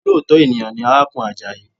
Olóòtọ́ ènìyàn ni arákùnrin Àjàyí